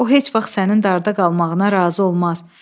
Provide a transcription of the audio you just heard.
O heç vaxt sənin darda qalmağına razı olmaz.